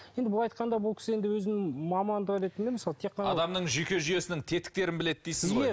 енді былай айтқанда бұл кісі енді өзінің мамандық ретінде мысалы тек адамның жүйке жүйесінің тетіктерін біледі дейсіз ғой иә